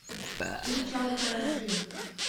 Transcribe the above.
ичалкаранджи